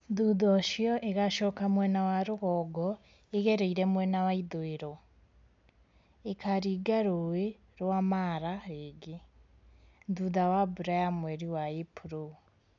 Thutha ũcio igacoka mwena wa rũgongo igereire mwena wa ithũĩro, ikaringa Rũũĩ rwa Mara rĩngĩ, thutha wa mbura ya mweri wa Ĩpuro.